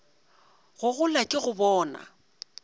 go gola ke go bona